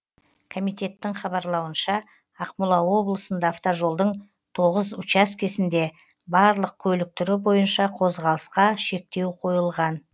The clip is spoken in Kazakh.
комитеттің хабарлауынша ақмола облысында автожолдың тоғыз учаскесінде барлық көлік түрі бойынша қозғалысқа шектеу қойылған